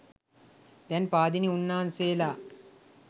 දැන් පාදිලි උන්නාන්සේලා